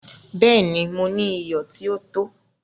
Bẹ́ẹ̀ni, Mò ní iyọ̀ tí o tó.